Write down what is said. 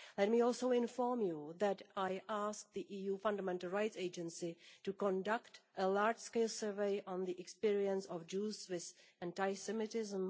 Let me also inform you that I have asked the EU Fundamental Rights Agency to conduct a large scale survey on the experience of Jews with anti Semitism.